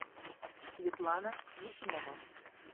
светлана ефимова